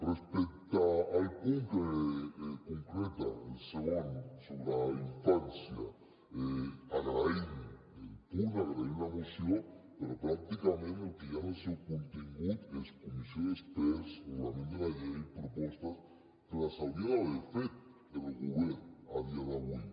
respecte al punt que concreta el segon sobre infància agraïm el punt agraïm la moció però pràcticament el que hi ha en el seu contingut és comissió d’experts reglament de la llei propostes que les hauria d’haver fet el govern a dia d’avui